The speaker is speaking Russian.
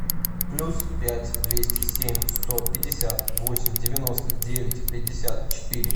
плюс пять двести семь сто пятьдесят восемь девяносто девять пятьдесят четыре